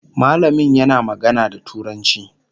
mallamin yana magana da turanci